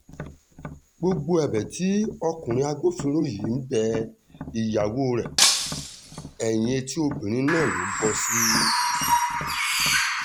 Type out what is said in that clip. gbogbo ẹ̀bẹ̀ tí ọkùnrin agbófinró yìí ń bẹ ìyàwó rẹ̀ ẹ̀yìn etí obìnrin náà ló ń bọ́ sí